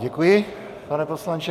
Děkuji, pane poslanče.